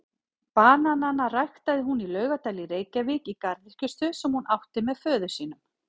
Bananana ræktaði hún í Laugardal í Reykjavík í garðyrkjustöð sem hún átti með föður sínum.